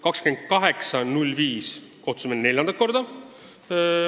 28. mail kogunes majanduskomisjon neljandat korda.